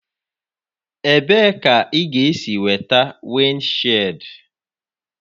Ebee ka ị ga-esi nweta windshịld?